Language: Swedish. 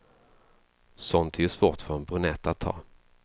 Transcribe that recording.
Sånt är ju svårt för en brunett att ta.